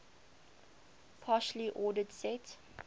partially ordered set